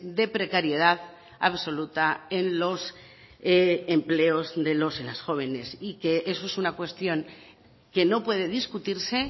de precariedad absoluta en los empleos de los y las jóvenes y que eso es una cuestión que no puede discutirse